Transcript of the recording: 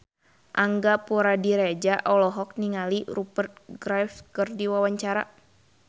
Angga Puradiredja olohok ningali Rupert Graves keur diwawancara